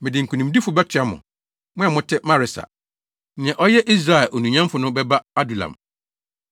Mede nkonimdifo bɛtoa mo; mo a mote Maresa. Nea ɔyɛ Israel onuonyamfo no bɛba Adulam.